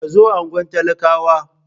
Ka zo unguwar talakawa.